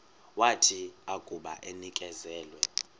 wathi akuba enikezelwe